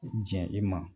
Jɛn i ma